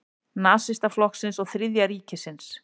Nasistaflokksins og Þriðja ríkisins.